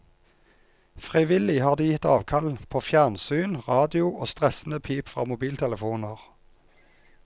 Frivillig har de gitt avkall på fjernsyn, radio og stressende pip fra mobiltelefoner.